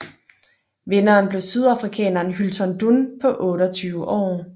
Vinderen blev sydafrikaneren Hylton Dunn på 28 år